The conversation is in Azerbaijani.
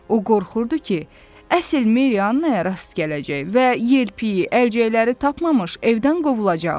O qorxurdu ki, əsl Meriyannaya rast gələcək və yelpiki, əlcəkləri tapmamış evdən qovulacaq.